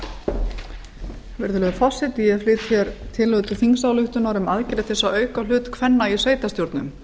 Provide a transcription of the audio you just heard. virðulegur forseti ég flyt hér tillögu til þingsályktunar um aðgerðir til að auka hlut kvenna í sveitarstjórnum